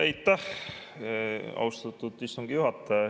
Aitäh, austatud istungi juhataja!